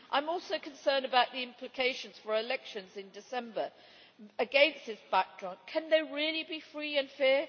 I am also concerned about the implications for elections in December against this backdrop, can they really be free and fair?